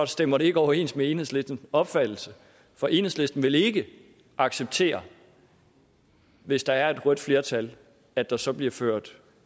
stemmer det ikke overens med enhedslistens opfattelse for enhedslisten vil ikke acceptere hvis der er et rødt flertal at der så bliver ført